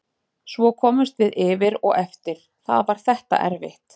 Svo komumst við yfir og eftir það var þetta erfitt.